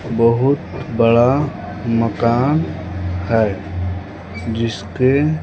बहुत बड़ा मकान है जिसके--